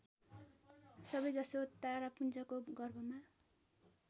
सबैजसो तारापुञ्जको गर्भमा